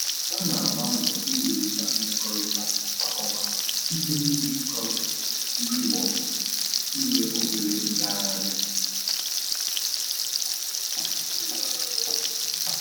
Ha na-agba mbọ iwulite mmekọrịta ha kwa ọnwa site na-irikọ nri maọbụ ime obere ngagharị